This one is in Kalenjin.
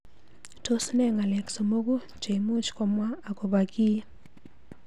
Tos ne ng'alek somoku cheimuch komwa akobo kii.